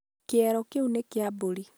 Kĩero kĩu nĩ kĩa mbũri.